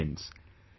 Friends,